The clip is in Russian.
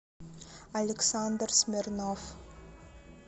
александр смирнов